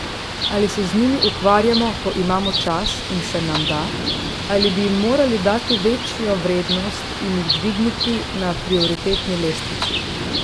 Ali se z njimi ukvarjamo, ko imamo čas in se nam da, ali bi jim morali dati večjo vrednost in jih dvigniti na prioritetni lestvici?